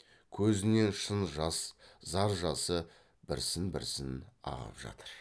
көзінен шын жас зар жасы бірсін бірсін ағып жатыр